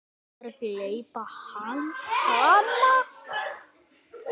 Þú ætlaðir að gleypa hana.